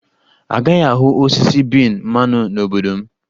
A gaghị ahụ osisi bean mmanụ n' obodo m.